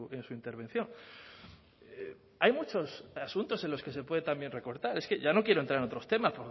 en su intervención hay muchos asuntos en los que se puede también recortar es que ya no quiero entrar en otros temas